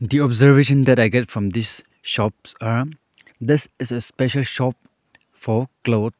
the observation that i get from this shops are this is a special shop for cloth.